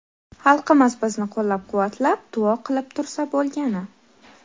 Xalqimiz bizni qo‘llab-quvvatlab, duo qilib tursa bo‘lgani.